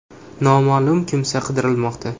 Noma’lum kimsa qidirilmoqda.